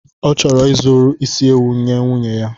Ọ chọrọ izuru isi ewu nye nwunye ya.